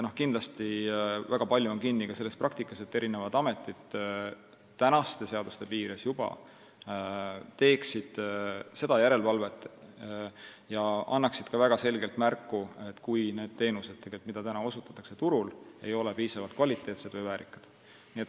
Kindlasti on väga palju kinni selles praktikas, et eri ametid juba praeguste seaduste alusel teeksid seda järelevalvet ja annaksid selgelt märku, kui need teenused, mida osutatakse, ei ole kvaliteetsed või väärikad.